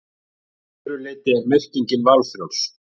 Að öðru leyti er merkingin valfrjáls.